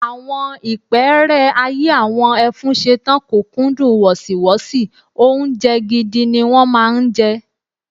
Àwọn ìpẹ́ẹ́rẹ́ ayé àwọn Ẹfúnṣetán kò kúndùn wọ̀sìwọ́sì, oúnjẹ gidi ni wọ́n máa ń jẹ.